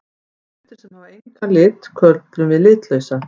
Hlutir sem hafa engan lit köllum við litlausa.